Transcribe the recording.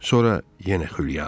Sonra yenə xülya.